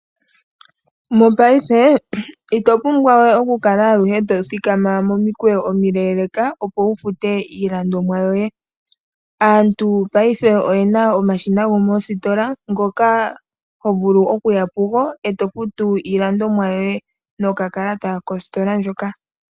Mopaife ito pumbwa we okukala aluhe tothikama momikweyo omileeleka opo wufute iilandomwa yoye. Aantu paife oyena omashina gomoositola ngoka hovulu okuya pugo e tofutu iilandomwa yo ye nokakalata kositola ndjoka.